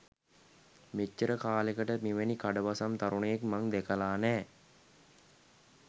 මෙච්චර කාලෙකට මෙවැනි කඩවසම් තරුණයෙක් මං දැකල නෑ.